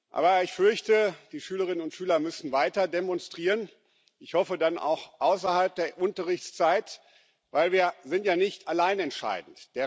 Aber ich fürchte, die Schülerinnen und Schüler müssen weiter demonstrieren ich hoffe, dann auch außerhalb der Unterrichtszeit denn wir sind ja nicht allein entscheidend.